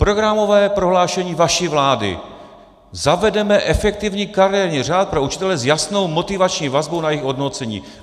Programové prohlášení vaší vlády - zavedeme efektivní kariérní řád pro učitele s jasnou motivační vazbou na jejich hodnocení.